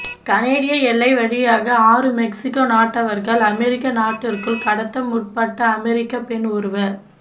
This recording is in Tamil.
கனேடிய எல்லை வழியாக ஆறு மெக்சிகோ நாட்டவர்களை அமெரிக்க நாட்டிற்குள் கடத்த முற்பட்ட அமெரிக்க பெண் ஒருவ